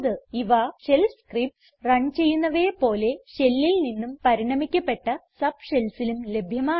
ഇവ shell scripts run ചെയ്യുന്നവയെ പോലെ shellൽ നിന്നും പരിണമിക്കപ്പെട്ട subshellsലും ലഭ്യമാണ്